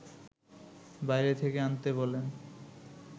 বাইরে থেকে আনতে বলেন